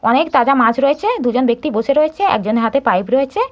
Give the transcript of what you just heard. অনেক তাজা মাছ রয়েছে দুজন ব্যক্তি বসে রয়েছে এই জন্য এর হাতে পাইপ রয়েছে।